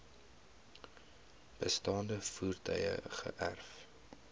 bestaande voertuie geërf